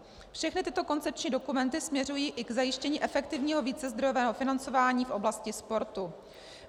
Všechny tyto koncepční dokumenty směřují i k zajištění efektivního vícezdrojového financování v oblasti sportu.